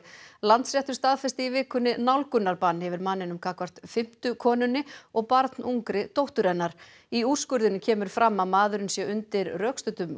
Landsréttur staðfesti í vikunni nálgunarbann yfir manninum gagnvart fimmtu konunni og barnungri dóttur hennar í úrskurðinum kemur fram að maðurinn sé undir rökstuddum